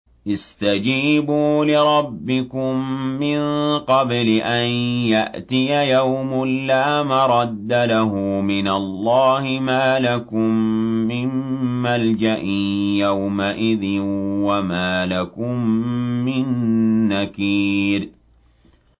اسْتَجِيبُوا لِرَبِّكُم مِّن قَبْلِ أَن يَأْتِيَ يَوْمٌ لَّا مَرَدَّ لَهُ مِنَ اللَّهِ ۚ مَا لَكُم مِّن مَّلْجَإٍ يَوْمَئِذٍ وَمَا لَكُم مِّن نَّكِيرٍ